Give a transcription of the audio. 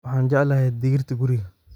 Waxaan jeclahay digirta guriga